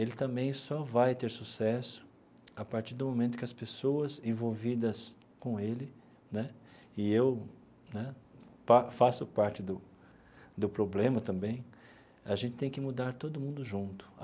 Ele também só vai ter sucesso a partir do momento em que as pessoas envolvidas com ele né e eu né pa faço parte do do problema também a gente tem que mudar todo mundo junto.